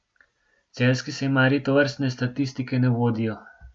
Celjski sejmarji tovrstne statistike ne vodijo.